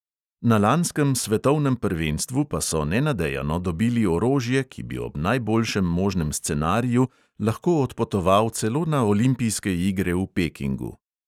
Na lanskem svetovnem prvenstvu pa so nenadejano dobili orožje, ki bi ob najboljšem možnem scenariju lahko odpotoval celo na olimpijske igre v pekingu.